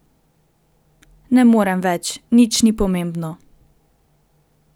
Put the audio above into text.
Ne morem več, nič ni pomembno.